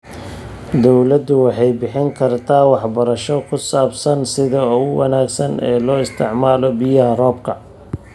Dawladdu waxay bixin kartaa waxbarasho ku saabsan sida ugu wanaagsan ee loo isticmaalo biyaha roobka.